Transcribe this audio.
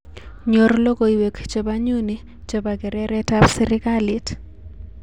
Nyor logoiwek chebo nyuni chebo keretab serikalit